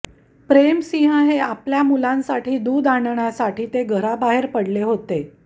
प्रेम सिंह हे आपल्या मुलांसाठी दूध आणण्यासाठी ते घराबाहेर पडले होते